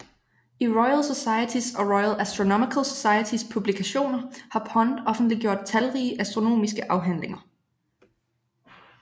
I Royal Societys og Royal Astronomical Societys publikationer har Pond offentliggjort talrige astronomiske afhandlinger